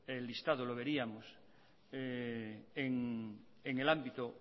el listado lo veríamos en el ámbito